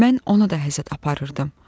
Mən ona da həsəd aparırdım.